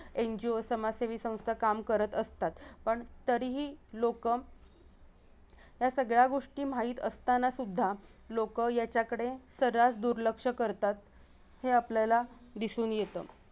NGO समाजसेवी संस्था काम करत असतात पण तरीही लोकं या सगळ्या गोष्टी माहीत असताना सुध्दा लोक याचाकडे सर्रास दुर्लक्ष करतात हे आपल्याला दिसून येत